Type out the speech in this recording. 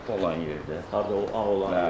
Olan yerdə, harda Ağ olan yerdə.